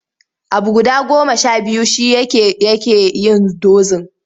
Abu guda goma sha biyu shi yake yake yin dozin.